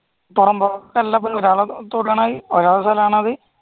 ഒരാളുടെ സ്ഥലമാണത്